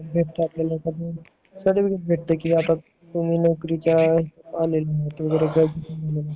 तेव्हा आपल्याला सर्टिफिकेट भेटत तुम्हाला नोकरीच्या आलंय म्हणून